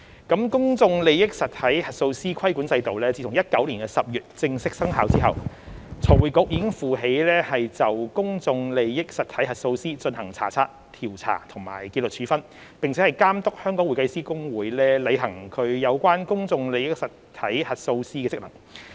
公眾利益實體核數師規管制度自2019年10月正式生效後，財務匯報局已負起就公眾利益實體核數師進行查察、調查及紀律處分，並監督香港會計師公會履行有關公眾利益實體核數師的職能。